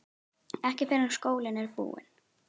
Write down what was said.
Ekki fyrr en skólinn er búinn